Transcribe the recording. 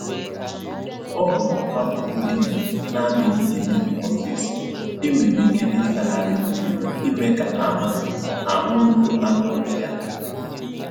Ọ họọrọ akwa ndina na-adịghị emebi ọsịsọ e nwere ike ịsagharị mmiri ime ka ahụ ahụ rụo anụ ụlọ ya ala